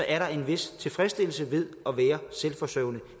er en vis tilfredsstillelse ved at være selvforsørgende